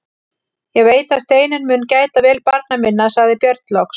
Ég veit að Steinunn mun gæta vel barna minna, sagði Björn loks.